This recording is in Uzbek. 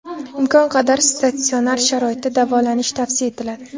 Imkon qadar statsionar sharoitda davolanish tavsiya etiladi.